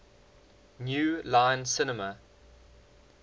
new line cinema